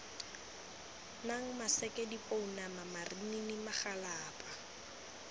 nang maseke dipounama marinini magalapa